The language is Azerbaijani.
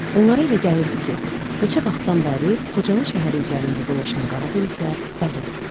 Onlara elə gəlirdi ki, neçə vaxtdan bəri Xocalı şəhəri üzərində dolaşan qara buludlar dağılır.